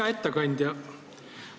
Hea ettekandja!